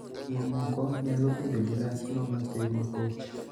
Mamoko nyalo bedo gi rach mabathe ma koch.